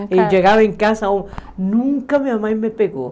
E chegava em casa, nunca minha mãe me pegou.